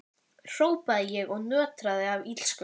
hrópaði ég og nötraði af illsku.